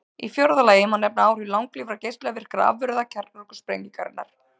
Í fjórða lagi má nefna áhrif langlífra geislavirkra afurða kjarnorkusprengingarinnar.